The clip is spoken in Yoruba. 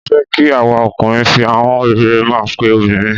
Mó fẹ́ kí àwa ọkùnrin fi ahọ́n rere máa pe obìnrin.